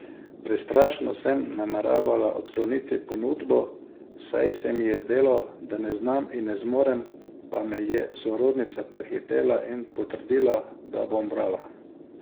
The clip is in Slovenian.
Prestrašeno sem nameravala odkloniti ponudbo, saj se mi je zdelo, da ne znam in ne zmorem, pa me je sorodnica prehitela in potrdila, da bom brala.